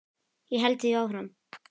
Ég held því áfram.